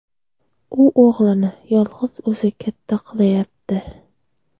U o‘g‘lini yolg‘iz o‘zi katta qilayapti.